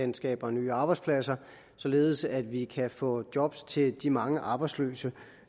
den skaber nye arbejdspladser således at vi kan få job til de mange arbejdsløse